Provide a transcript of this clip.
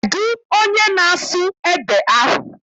Kedụ onye na-asụ ede ahụ?